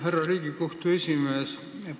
Härra Riigikohtu esimees!